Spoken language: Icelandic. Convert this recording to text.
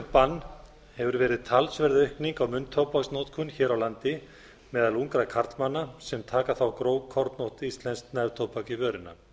bann hefur verið talsverð aukning á munntóbaksnotkun hér á landi meðal ungra karlmanna sem taka þá grófkorn og íslenskt neftóbak í vörina